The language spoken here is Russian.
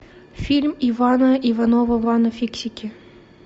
фильм ивана иванова вано фиксики